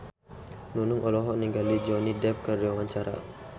Nunung olohok ningali Johnny Depp keur diwawancara